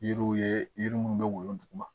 Yiriw ye yiri minnu bɛ woyo duguma